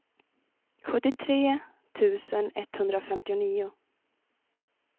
sjuttiotre tusen etthundrafemtionio